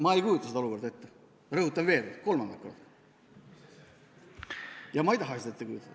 Ma ei kujuta seda olukorda ette, rõhutan kolmandat korda, ja ma ei taha seda ette kujutada.